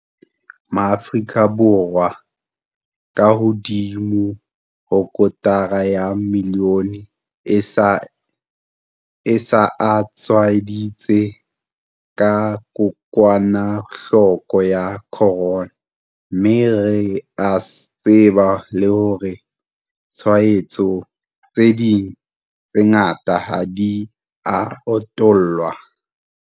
Maafrika Borwa a kahodimo ho kotara ya milione a se a tshwaeditswe ke kokwanahloko ya corona, mme re a tseba le hore ditshwaetso tse ding tse ngata ha di a utollwa.